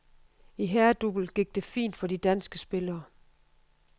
I herredouble gik det fint for de danske spillere.